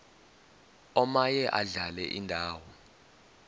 omaye adlale indawo